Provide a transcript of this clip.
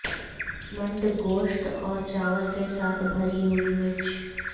منڈ گوشت اور چاول کے ساتھ بھری ہوئی مرچ